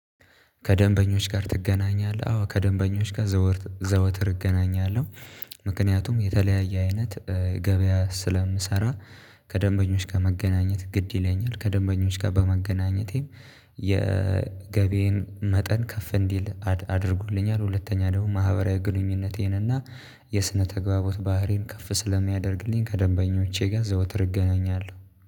ከደንበኞች ጋር ትገናኛለህ? አዎ ከደንበኞች ጋር ዘወትር እገናኛለሁ። ምክንያቱም የተለያየ አይነት ገበያ ስለምሰራ ከደንበኞች ጋር መገናኘት ግድ ይለኛል። ከደንበኞች ጋር በመገናኘቴም የገቢዬን መጠን ከፍ እንዲል አድርጉልኛል። ሁለተኛ ደግሞ ማህበራዊ ግንኙነቴን እና የስነ ተግባቦት ባህሬን ከፍ ስለሚያደርግልኝ ከደንበኞቼ ጋር ዘውትር እገናኛለሁ